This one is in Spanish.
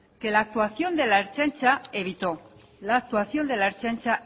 que la actuación de la ertzaintza evitó la actuación de la ertzaintza